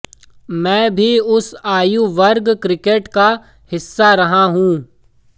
मैं भी उस आयु वर्ग क्रिकेट का हिस्सा रहा हूं